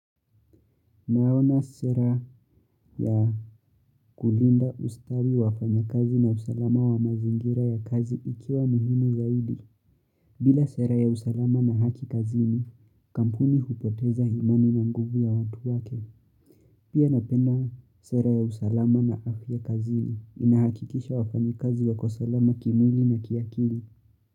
Naona sera ya kulinda ustari wa wafanyikazi na usalama wa mazingira ya kazi ikiwa muhimu zaidi. Bila sera ya usalama na haki kazini, kampuni hupoteza himani na nguvu ya watu wake. Pia napenda sera ya usalama na afya kazini inahakikisha wafanyikazi wako salama kimwili na kiakili.